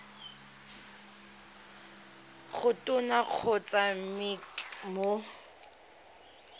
go tona kgotsa mec mo